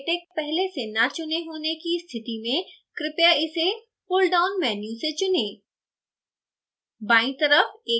pdflatex पहले से न चुने होने की स्थिति में कृपया इसे pull down menu से चुनें